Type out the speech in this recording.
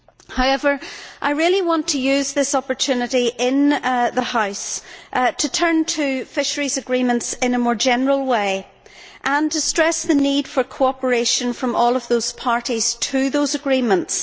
However, I really want to use this opportunity in the House to turn to fisheries agreements in a more general way and to stress the need for cooperation from all of those parties to these agreements.